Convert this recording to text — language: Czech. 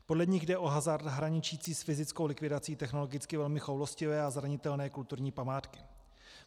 Podle nich jde o hazard hraničící s fyzickou likvidací technologicky velmi choulostivé a zranitelné kulturní památky.